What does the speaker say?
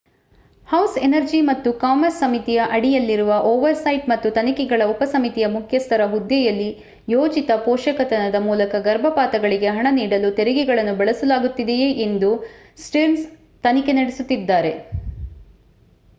house Energy ಮತ್ತು Commerce ಸಮಿತಿಯ ಅಡಿಯಲ್ಲಿರುವ ಓವರ್‌ಸೈಟ್ ಮತ್ತು ತನಿಖೆಗಳ ಉಪಸಮಿತಿಯ ಮುಖ್ಯಸ್ಥರ ಹುದ್ದೆಯಲ್ಲಿ ಯೋಜಿತ ಪೋಷಕತನದ ಮೂಲಕ ಗರ್ಭಪಾತಗಳಿಗೆ ಹಣ ನೀಡಲು ತೆರಿಗೆಗಳನ್ನು ಬಳಸಲಾಗುತ್ತಿದೆಯೇ ಎಂದು ಸ್ಟೀರ್ನ್ಸ್‌ ತನಿಖೆ ನಡೆಸುತ್ತಿದ್ದಾರೆ